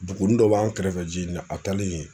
Duguni dɔ b'an kɛrɛfɛ Jini la a taalen ye